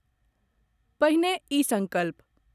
पहिने ई संकल्प.....